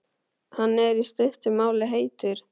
Hann er, í stuttu máli, heitur.